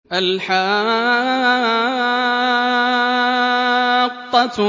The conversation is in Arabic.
الْحَاقَّةُ